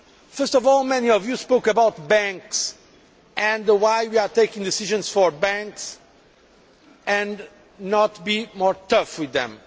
First of all, many of you spoke about banks and why we are taking decisions for banks and not being tougher with them.